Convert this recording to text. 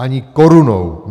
Ani korunou!